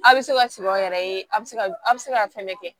A' bɛ se ka sɔrɔ a yɛrɛ ye a bɛ se ka a bɛ se ka fɛn bɛɛ kɛ